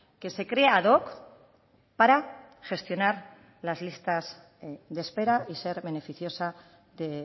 que se crea ad hoc para gestionar las listas de espera y ser beneficiosa de